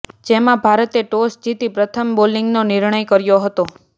જેમાં ભારતે ટોસ જીતી પ્રથમ બોલિંગનો નિર્ણય કર્યો હતો